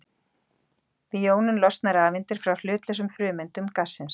Við jónun losna rafeindir frá hlutlausum frumeindum gassins.